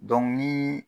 ni